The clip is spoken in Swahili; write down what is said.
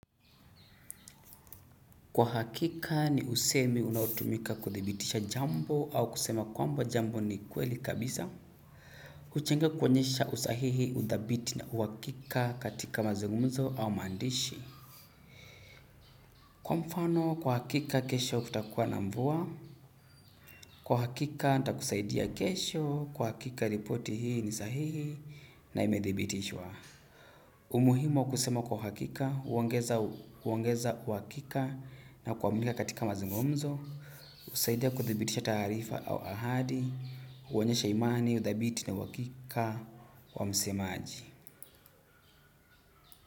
Kwa hakika ni usemi unaotumika kuthibitisha jambo au kusema kwamba jambo ni kweli kabisa. Uchenga kuonyesha usahihi udhabiti na uwakika katika mazungumzo au maandishi. Kwa mfano kwa hakika kesho kutakuwa na mvua. Kwa hakika nita kusaidia kesho. Kwa hakika ripoti hii ni sahihi na imedhibitishwa. Umuhimu wa kusema kwa hakika huongeza uongeza uwakika na kuamika katika mazungumzo. Usaidia kuthibitisha taarifa au ahadi. Uonyesha imani, udhabiti na uwakika wa msemaji.